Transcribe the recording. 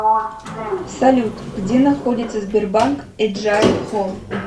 салют где находится сбербанк эджайл хом